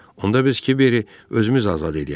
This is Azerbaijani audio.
Onda biz Kiberi özümüz azad eləyərik.